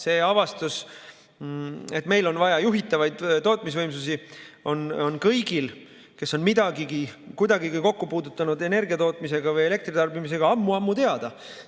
See avastus, et meil on vaja juhitavaid tootmisvõimsusi, on kõigil, kes on kuidagigi kokku puutunud energiatootmise või elektritarbimisega, ammu-ammu teada.